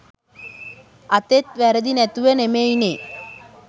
අතෙත් වැරදි නැතුවෙ නෙමෙයිනෙ.